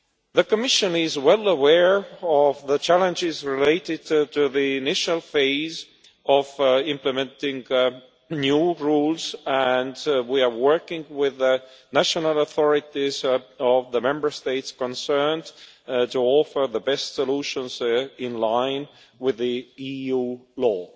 The Commission is well aware of the challenges related to the initial phase of implementing the new rules and we are working with the national authorities of the Member States concerned to offer the best solutions in line with EU law.